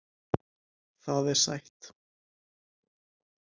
Það er sætt.